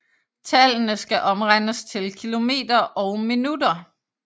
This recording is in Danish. Tallene skal omregnes til km og min